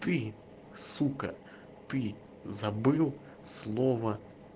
ты сука ты забыл слово